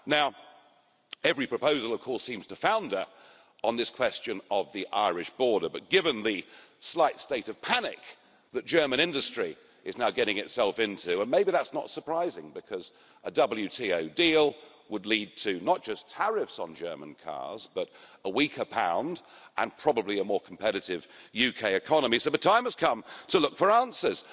Now every proposal of course seems to founder on the question of the Irish border, but given the slight state of panic that German industry is now getting itself into and maybe that's not surprising because a WTO deal would lead not just to tariffs on German cars, but a weaker pound and probably a more competitive UK economy the time has come to look for answers.